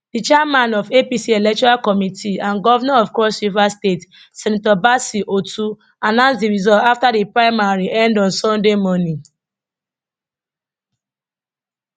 di chairman of apc electoral committee and govnor of cross river state senator bassey otu announce di result afta di primary end on sunday morning